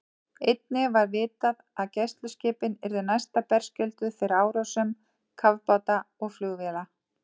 Einnig var vitað, að gæsluskipin yrðu næsta berskjölduð fyrir árásum kafbáta og flugvéla.